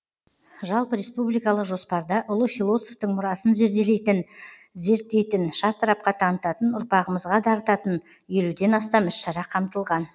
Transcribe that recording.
жалпы республикалық жоспарда ұлы философтың мұрасын зерделейтін зерттейтін шартарапқа танытатын ұрпағымызға дарытатын елуден астам іс шара қамтылған